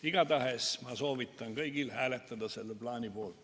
Igatahes ma soovitan kõigil hääletada selle plaani poolt.